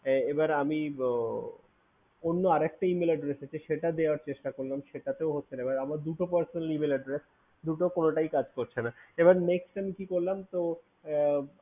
এবার আমি একটা অন্য Email Address থেকে সেটা দেওয়ার চেষ্টা করলাম সেটাতেও হচ্ছে না এবার আমার পর পর দুটো Email Address দুটোর কোনোটাই কাজ করছে না এবার next time কি করলাম তো